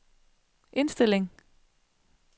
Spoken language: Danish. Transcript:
indstilling